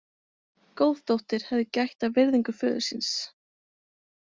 Góð dóttir hefði gætt að virðingu föður síns.